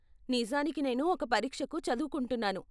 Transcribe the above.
నిజానికి నేను ఒక పరీక్షకు చదువుకుంటున్నాను.